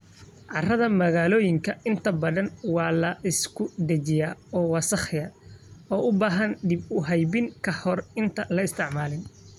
Carrada magaalooyinka inta badan waa la isku dhejiyaa oo wasakhaysan, oo u baahan dib u habeyn ka hor intaan la isticmaalin.